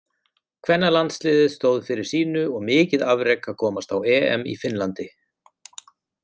Kvennalandsliðið stóð fyrir sínu og mikið afrek að komast á EM í Finnlandi.